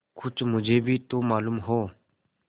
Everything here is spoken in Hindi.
कुछ मुझे भी तो मालूम हो